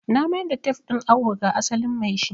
Na mayar da tef din awo ga asalin maishi